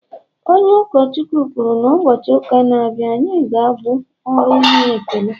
onye ụkọchukwu kwuru na, ụbọchị ụka na-abịa ga-abụ ọrụ inye ekele